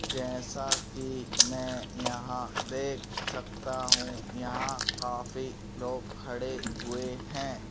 जैसा कि मैं यहां देख सकता हूं यहां काफी लोग खड़े हुए हैं।